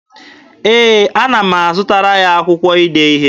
Ee, ana m azụtara ya akwụkwọ ide ihe.